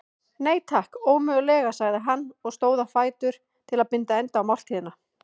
Nei, takk, ómögulega sagði hann og stóð á fætur til að binda enda á máltíðina.